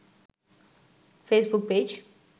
Facebook page